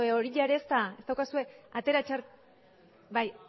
horia ere ez daukazue atera txartelak